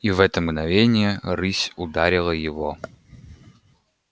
и в это мгновение рысь ударила его